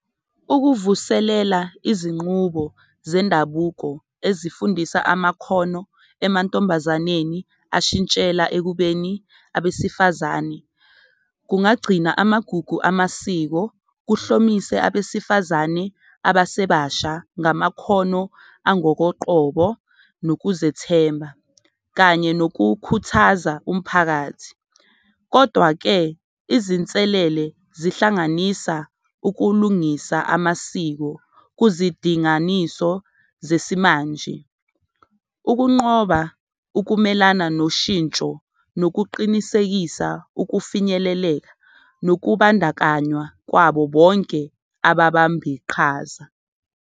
Ukuvuselela izinqubo zendabuko ezifundisa amakhono emantombazaneni ashintshela ekubeni abesifazane, kungagcina amagugu amasiko, kuhlomise abesifazane abasebasha ngamakhono angokoqobo nokuzethemba kanye nokukhuthaza umphakathi. Kodwa-ke, izinselele zihlanganisa ukulungisa amasiko kuzidinganiso zesimanje, ukunqoba ukumelana noshintsho nokuqinisekisa ukufinyeleleka, nokubandakanywa kwabo bonke ababamba iqhaza.